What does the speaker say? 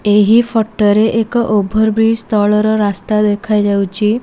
ଏହି ଫଟ ରେ ଏକ ଓଭର ବ୍ରିଜ ତଳର ରାସ୍ତା ଦେଖାଯାଉଛି।